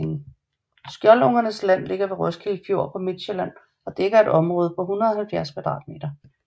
Skjoldungernes Land ligger ved Roskilde Fjord på Midtsjælland og dækker et område på 170 km2